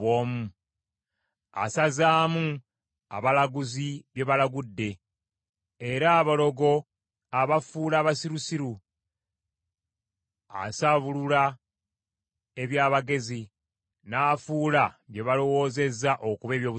asazaamu abalaguzi bye balagudde era abalogo abafuula abasirusiru. Asaabulula eby’abagezi n’afuula bye balowoozezza okuba eby’obusirusiru.